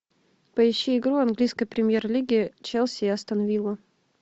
поищи игру английской премьер лиги челси и астон вилла